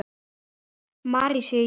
Mary sé í Japan.